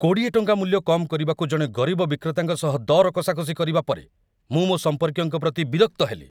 ୨୦ ଟଙ୍କା ମୂଲ୍ୟ କମ୍‌ କରିବାକୁ ଜଣେ ଗରିବ ବିକ୍ରେତାଙ୍କ ସହ ଦର କଷାକଷି କରିବା ପରେ ମୁଁ ମୋ ସମ୍ପର୍କୀୟଙ୍କ ପ୍ରତି ବିରକ୍ତ ହେଲି।